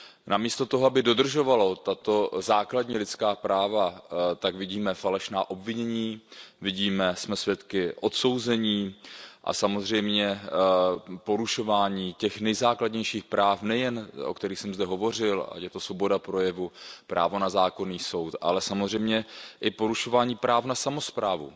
Namísto toho, aby dodržovalo tato základní lidská práva, tak vidíme falešná obvinění, jsme svědky odsouzení a samozřejmě porušování těch nejzákladnějších práv, nejen těch, o kterých jsem zde hovořil, ať je to svoboda projevu, právo na zákonný soud, ale samozřejmě i porušování práv na samosprávu.